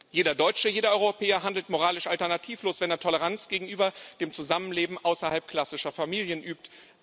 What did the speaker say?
Jeder Deutsche, jeder Europäer handelt moralisch alternativlos, wenn er Toleranz gegenüber dem Zusammenleben außerhalb klassischer Familien übt.